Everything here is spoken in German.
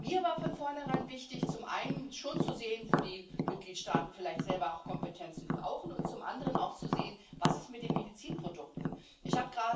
Mir war von vornherein wichtig, zum einen schon zu sehen, wo die Mitgliedstaaten vielleicht selber auch Kompetenzen brauchen, und zum anderen auch zu sehen, was mit den Medizinprodukten ist.